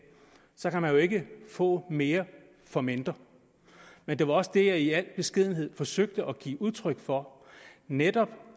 så kan man jo ikke få mere for mindre men det var også det jeg i al beskedenhed forsøgte at give udtryk for netop